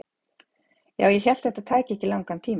Ja, ég hélt þetta tæki ekki langan tíma.